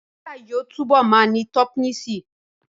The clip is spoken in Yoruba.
Písà yóò túbọ̀ ma ní tọ́pìnsí